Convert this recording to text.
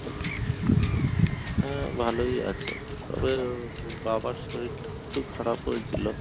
হ্যাঁ ভালোই আছে, তবে বাবার শরীরটা একটু খারাপ হয়েছিল